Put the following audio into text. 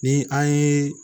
Ni an ye